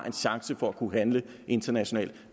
en chance for at kunne handle internationalt